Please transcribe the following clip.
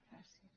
gràcies